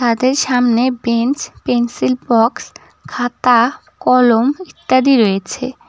তাদের সামনে bench pencil box খাতা কলম ইত্যাদি রয়েছে।